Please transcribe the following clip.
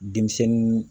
Denmisɛnnin